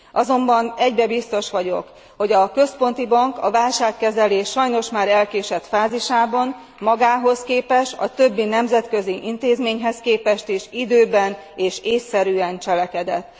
Azonban egyben biztos vagyok, hogy a Központi Bank a válságkezelés sajnos már elkésett fázisában magához képest is és a többi nemzetközi intézményhez képest is időben és ésszerűen cselekedett.